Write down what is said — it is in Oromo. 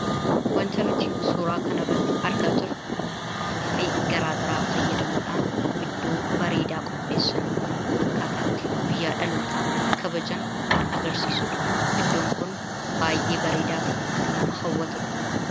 Wanti nuti suuraa kanarratti argaa jirru afuuffee garaagaraa fayyadamuudhaan iddoo bareedaa qopheessanii akkaataa itti guyyaa dhalootaa kabajan kan agarsiisu dha. Iddoon kun baay'ee bareedaa fi kan nama hawwatu dha.